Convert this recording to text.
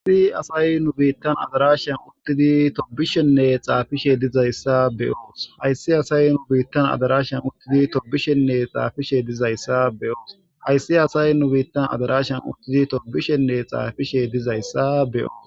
Haysi asay nu bittan addarashan uttidi tobishshene xafishe dizayssa be'os Haysi asay nu bittan addarashan uttidi tobishshene xafishe dizayssa be'os Haysi asay nu bittan addarashan uttidi tobishshene xafishe dizayssa be'os